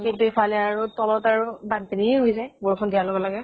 কিন্তু ইফালে আৰু তলত আৰু বান্পানীয়ে হৈ যায় বৰষুন দিয়াৰ লগে লগে।